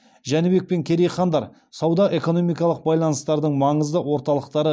жәнібек пен керей хандар сауда экономикалық байланыстардың маңызды орталықтары